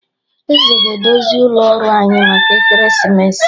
Eze ga- edozi ụlọ ọrụ anyị maka ekeresimesi